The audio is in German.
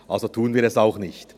Also tun wir es auch nicht.